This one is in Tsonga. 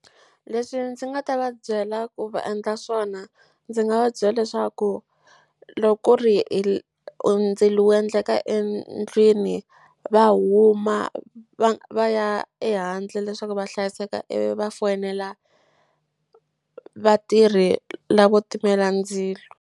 Leswi ndzi nga ta va byela ku va endla swona ndzi nga va byela leswaku loko ku ri ndzilo wu endleka endlwini va huma va ya ehandle leswaku va hlayiseka ivi va foyinela vatirhi la vo timela ndzilo.